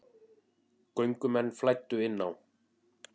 Göngumenn flæddu inn á